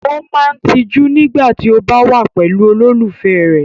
O máa n tijú nígbà tí o ba wa pẹ̀lú olólùfẹ́ rẹ.